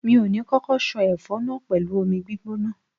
Mi ò ní kókó ṣan ẹfọ náà pẹ̀lú omi gbígbóná.